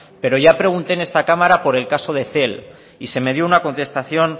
pero ya pregunte en esta cámara por el caso de cel y se me dio una contestación